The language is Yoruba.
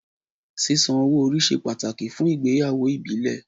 Sísan owó orí ṣe pàtàkì fún ìgbéyàwó ìbílẹ̀.